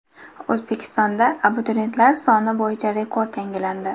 O‘zbekistonda abituriyentlar soni bo‘yicha rekord yangilandi.